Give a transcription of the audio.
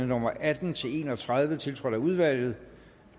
nummer atten til en og tredive tiltrådt af udvalget